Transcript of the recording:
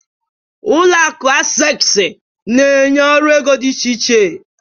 Ulọ akụ Access na-enye ọrụ ego dị iche iche.